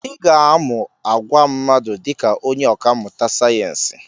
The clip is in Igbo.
Ị ga-amụ àgwà mmadụ dị ka onye ọkà mmụta sayensị.